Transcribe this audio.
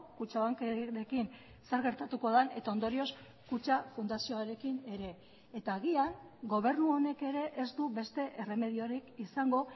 kutxabankekin zer gertatuko den eta ondorioz kutxa fundazioarekin ere eta agian gobernu honek ere ez du beste erremediorik izango